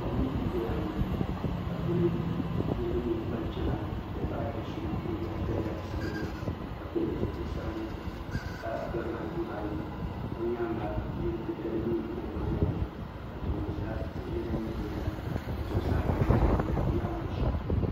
kom n doya ŋo ka di puuni niraba nyɛ ban chɛna n ti pahi do so o yɛla daliya sabinli ka pili zipili sabinli ka barila yuri ayi o nyaanga yili titali nyɛ din biɛni ka tooni sa yili lahi nyɛ din biɛni ka di zuɣusaa kama lee ku nyɛ zaɣ nuɣso